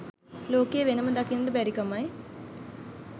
ලෝකයේ වෙනම දකින්න බැරිකමයි